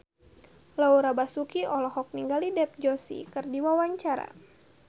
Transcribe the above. Laura Basuki olohok ningali Dev Joshi keur diwawancara